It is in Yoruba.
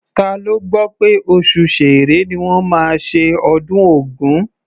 Ta ló gbọ́ pé oṣù Ṣẹẹrẹ ni wọ́n máa ṣe ọdún Ògún?